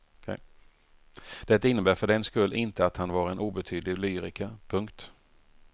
Det innebär för den skull inte att han var en obetydlig lyriker. punkt